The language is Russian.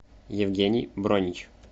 евгений бронич